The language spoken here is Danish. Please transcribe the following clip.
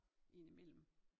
Ind i mellem